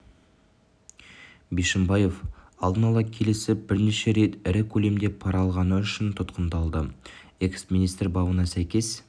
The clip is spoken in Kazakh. бишімбаев алдын ала келісіп бірнеше рет ірі көлемде пара алғаны үшін тұтқындалды экс-министр бабына сәйкес